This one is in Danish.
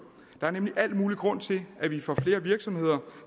der er nemlig al mulig grund til at vi får flere virksomheder